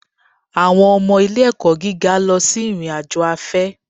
Àwọn ọmọ ilé-ẹ̀kọ́ gíga lọ sí ìrìn-àjò afẹ́